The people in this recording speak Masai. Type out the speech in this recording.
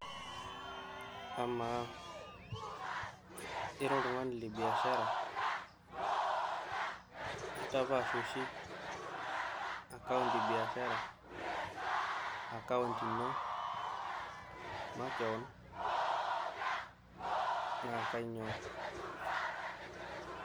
Amaa ira oltung`ani le biashara intapaash oshi akaont e bashara o akaont ino makewon naa kainyioo?